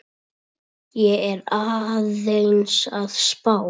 Ég er aðeins að spá.